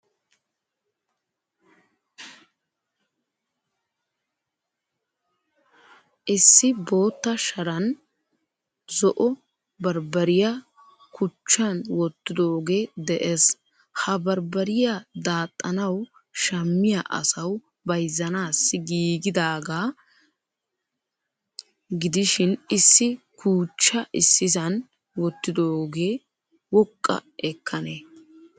Issi bootta sharan zo'o barbariya kuchchan wottidoge de'ees. Ha barbbariyaa daaxanawu shamiyaa asawu bayzzanasi giigidaga gidishin issi kuchcha issisan wottidoge woqqa ekkane?